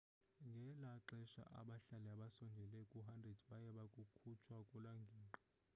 ngela xesha abahlali abasondele ku-100 baye bakhutshwa kuloo ngingqi